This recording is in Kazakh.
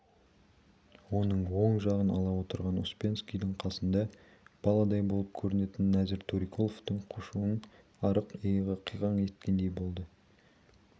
оның оң жағын ала отырған успенскийдің қасында баладай болып көрінетін нәзір төреқұловтың қушық арық иығы қиқаң еткендей болды